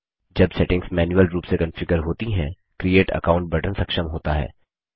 जब settings manual रूप से कॉन्फ़िगर होती हैं क्रिएट अकाउंट बटन सक्षम होता है